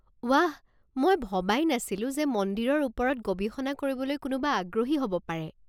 ৱাহ, মই ভবাই নাছিলো যে মন্দিৰৰ ওপৰত গৱেষণা কৰিবলৈ কোনোবা আগ্ৰহী হ'ব পাৰে।